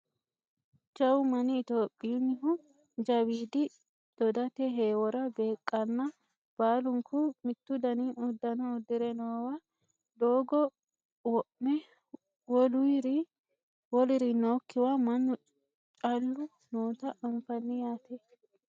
jawu manni itiyophiyunnihu jawiidi dodate heewora beeqqanna baalunku mittu dani uddano uddire noowa doogo wo'me woluri nookkiwa mannu callu noota anfanni yaate